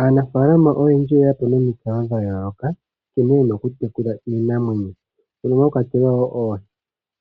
Aanafaalama oyendji oyeya po nomikalo dhayooloka nkene ye na okutekula iinamwenyo mono mwa kwatelwa wo oohi.